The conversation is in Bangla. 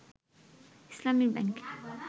ইসলামি ব্যাংক